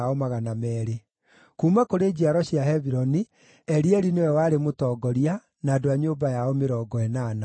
kuuma kũrĩ njiaro cia Hebironi, Elieli nĩwe warĩ mũtongoria, na andũ a nyũmba yao 80;